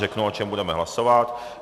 Řeknu, o čem budeme hlasovat.